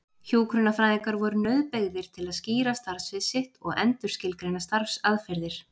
Hjúkrunarfræðingar voru nauðbeygðir til að skýra starfsvið sitt og endurskilgreina starfsaðferðir.